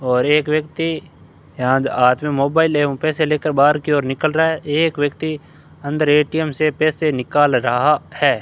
और एक व्यक्ति यहां हाथ में मोबाइल है वो पैसे लेकर बाहर की ओर निकल रहा है एक व्यक्ति अंदर ए_टी_एम से पैसे निकल रहा है।